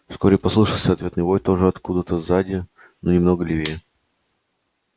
вскоре послышался ответный вой тоже откуда то сзади но немного левее